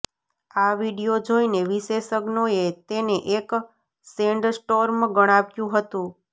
આ વીડિયો જોઈને વિશેષજ્ઞોએ તેને એક સેન્ડસ્ટોર્મ ગણાવ્યું હતું